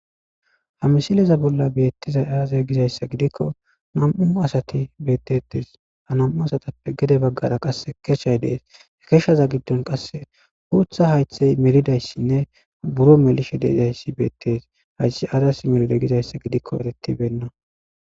Ha misileza bolla beettiza aaze gizayssa gidikko nam'u asati beettetes ha nam'u asatappe gede baggara qas keshshay dees hekeshshaza giddon qasse huutha haythey melidayssinne buro melishe deidayssi beettes haythi azas melide gizayssa gidikko eretibenna.